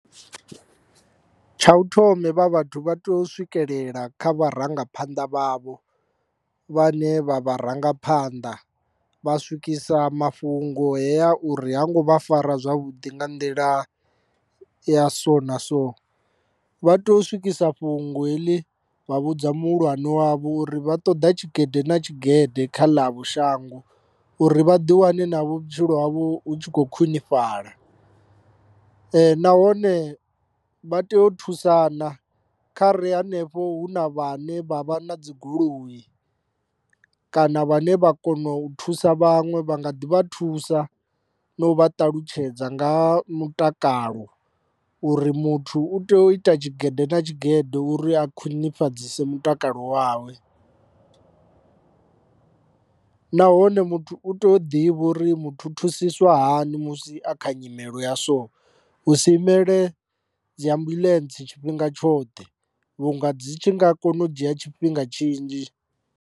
Tsha u thoma hevha vhathu vha tea u swikelela kha vharangaphanḓa vhavho vhane vha vharangaphanḓa vha swikisa mafhungo hea uri ha ngo vha fara zwavhuḓi nga nḓila ya so na so. Vha tea u swikisa fhungo heḽi vha vhudza muhulwane wavho uri vha ṱoḓa tshigede na tshigede kha ḽavho shango uri vha ḓi wane na vhutshilo havho hu tshi khou khwinifhala. Nahone vha tea u thusana kha ri henefho hu na vha ne vha vha na dzigoloi kana vhane vha kona u thusa vhaṅwe vha nga ḓi vha thusa na u vha ṱalutshedza nga ha mutakalo uri muthu u tea u ita tshigede na tshigede uri a khwinifhadzise mutakalo wawe, nahone muthu u tea u ḓivha uri muthu u thusiswa hani musi a kha nyimelo ya so hu si imele dzi ambuḽentse tshifhinga tshoṱhe vhunga dzi tshi nga kona u dzhia tshifhinga tshinzhi.